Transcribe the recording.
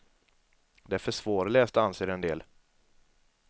Det är för svårläst anser en del.